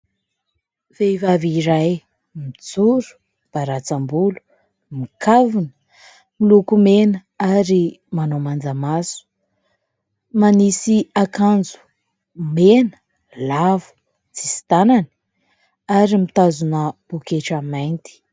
Vehivavy iray mijoro baratsam-bolo, mikavina, milokomena ary manao manja maso, manisy akanjo mena lavo tsisy tanany ary mitazona poketra mainty.